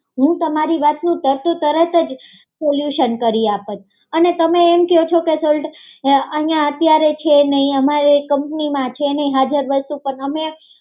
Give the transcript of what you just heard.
હું તમારી વાતનું તરતો તરત જ સોલ્યુશન કરી આપત અને તમે એમ ક્યો છો કે અહી અત્યારે છે નઈ અમારે કંપનીમાં છે નઈ હાજર વસ્તુ પણ